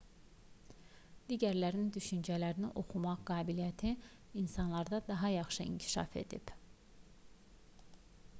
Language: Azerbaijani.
digərlərinin düşüncələrini oxumaq qabiliyyəti insanlarda daha yaxşı inkişaf edib